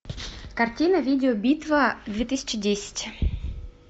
картина видеобитва две тысячи десять